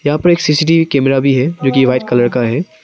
यहां पर एक सी_सी_टी_वी कैमरा भी है जो की वाइट कलर का है।